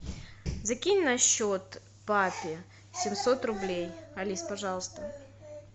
закинь на счет папе семьсот рублей алис пожалуйста